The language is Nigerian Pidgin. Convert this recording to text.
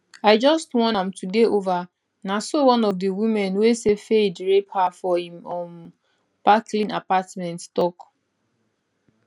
i just wan am to dey over na so one of di women wey say fayed rape her for im um park lane apartment tok